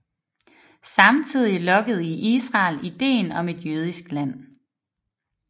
Samtidig lokkede i Israel idéen om et jødisk land